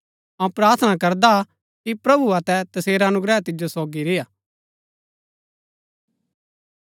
अऊँ प्रार्थना करदा हा कि प्रभु अतै तसेरा अनुग्रह तिजो सोगी रेय्आ